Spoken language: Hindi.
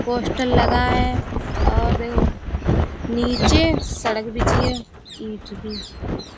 पोस्टर लगा है और देखो नीचे सड़क बिछी है ईंट भी।